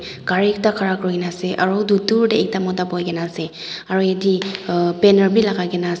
cari ekta ghara kurina ase aro utu dhur de ekta mota buina kina ase aro yete um banner b lagai kina ase.